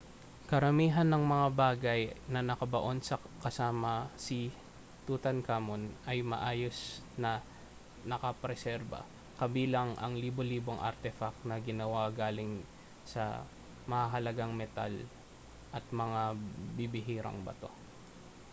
karamihan ng mga bagay na nakabaon kasama si tutankhamun ay maayos na nakapreserba kabilang ang libo-libong artefact na ginawa galing sa mahahalagang metal at mga bibihirang bato